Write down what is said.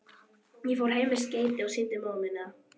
Ég fór heim með skeytið og sýndi móður minni það.